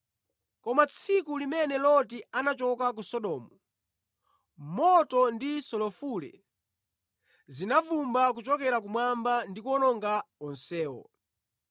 Koma tsiku limene Loti anachoka ku Sodomu, moto ndi sulufule zinavumbwa kuchokera kumwamba ndi kuwawononga onsewo.